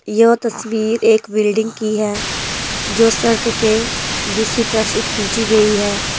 यह तस्वीर एक बिल्डिंग की है जो सड़क के दूसरी तरफ से खींची गई है।